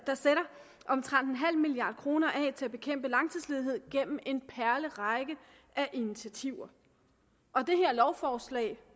omtrent nul milliard kroner af til at bekæmpe langtidsledighed gennem en perlerække af initiativer og det her lovforslag